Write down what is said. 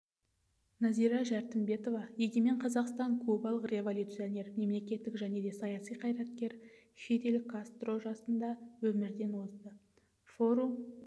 нәзира жәрімбетова егемен қазақстан кубалық революционер мемлекеттік және саяси қайраткер фидель кастро жасында өмірден озды форум